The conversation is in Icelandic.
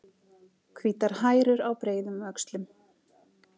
Hvítar hærur á breiðum öxlum.